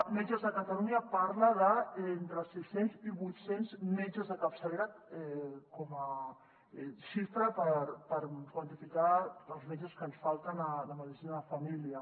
metges de catalunya parla d’entre sis cents i vuit cents metges de capçalera com a xifra per quantificar els metges que ens falten de medicina de família